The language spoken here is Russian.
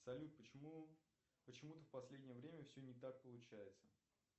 салют почему почему то в последнее время все не так получается